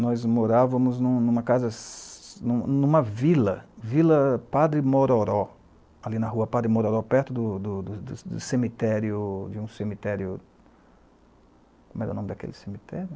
Nós morávamos em uma em uma casa, em uma em uma vila, vila Padre Mororó, ali na rua Padre Mororó, perto do do do cemitério, de um cemitério, como era o nome daquele cemitério?